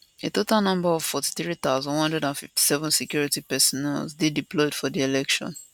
a total number of 43157 security personnel dey deployed for di election